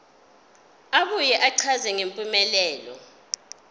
abuye achaze ngempumelelo